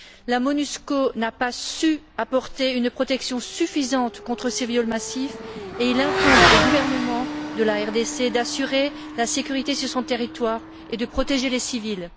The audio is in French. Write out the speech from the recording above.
La MONUSCO n'a pas su apporter une protection suffisante contre ces viols massifs et il incombe au gouvernement de la RDC d'assurer la sécurité sur son territoire et de protéger les civils.